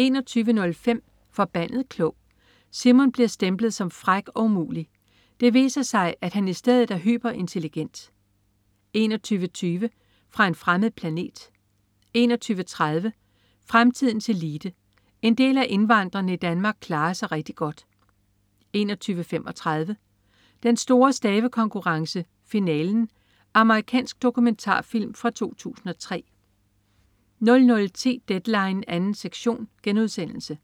21.05 Forbandet klog. Simon bliver stemplet som fræk og umulig. Det viser sig, at han i stedet er hyperintelligent 21.20 Fra en fremmed planet 21.30 Fremtidens elite. En del af indvandrerne i Danmark klarer sig rigtig godt 21.35 Den store stavekonkurrence, finalen. Amerikansk dokumentarfilm fra 2003 00.10 Deadline 2. sektion* 00.40